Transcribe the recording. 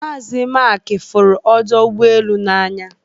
Mazi Maịk fụrụ ọdọ ụgbọelu n'anya